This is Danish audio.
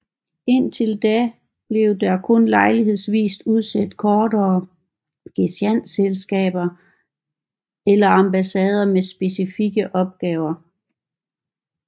Indtil da blev der kun lejlighedsvist udsendt kortere gesandtskaber eller ambassader med specifikke opgaver